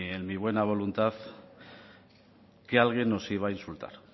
en muy buena voluntad que alguien nos iba a insultar